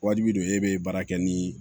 Wajibi don e bɛ baara kɛ ni